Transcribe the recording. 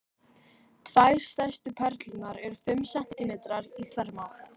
Tvær stærstu perlurnar eru fimm sentímetrar í þvermál.